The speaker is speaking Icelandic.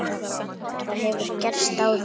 Það hefur gerst áður.